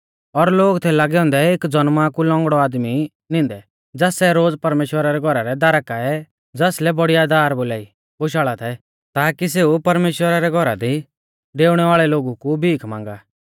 और लोग थै लागै औन्दै एक ज़नमा कु लौंगड़ौ आदमी नींदै ज़ास सै रोज़ परमेश्‍वरा रै घौरा रै दारा काऐ ज़ासलै बड़ीया दार बोलाई बोशाल़ा थै ताकी सेऊ परमेश्‍वरा रै घौरा दी डेउणै वाल़ै लोगु कु भीख मांगा